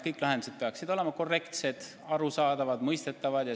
Kõik lahendused peaksid olema korrektsed, arusaadavad, mõistetavad.